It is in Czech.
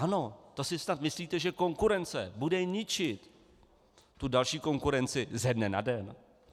Ano, to si snad myslíte, že konkurence bude ničit tu další konkurenci ze dne na den?